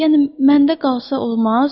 Yəni məndə qalsa olmaz?